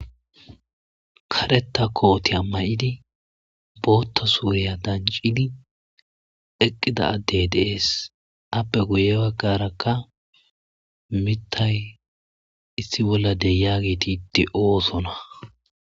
Kareta kooti a may7idi bootta suurya dancidi eqqida addey deees appe guye baggarakka mitay issi bolla deyaageti de7oosona